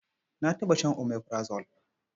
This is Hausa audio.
Na taɓa shan omeprazole.